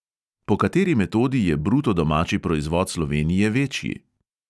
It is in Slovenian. Po kateri metodi je bruto domači proizvod slovenije večji?